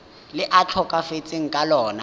le a tlhokafetseng ka lona